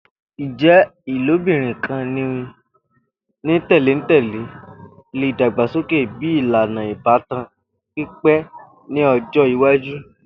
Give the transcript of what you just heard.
Ijẹ ilobirin kan ni tẹlentẹle le dagbasoke bi ilana ibatan pipẹ ni ọjọ iwaju.